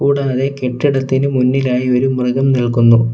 കൂടാതെ കെട്ടിടത്തിന് മുന്നിലായി ഒരു മൃഗം നിൽക്കുന്നു.